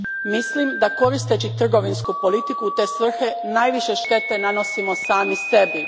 Mislim da koristeći trgovinsku politiku u te svrhe najviše štete nanosimo sami sebi.